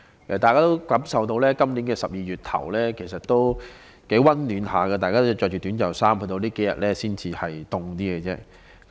大家也感受到，今年12月初的天氣仍頗為溫暖，大家依然可以穿着短袖衣服，直至最近數天才稍為寒冷。